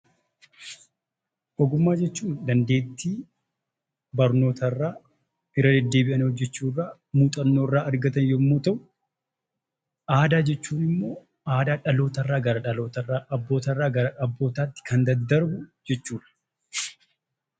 Ogummaa jechuun dandeettii barnoota irraa, irra deddeebi'anii hojjechuu irraa, muuxannoo irraa argatan yommuu ta'u, aadaa jechuun immoo aadaa dhaloota irraa gara dhalootaatti, abbootarraa gara abbootaatti kan daddarbu jechuudha.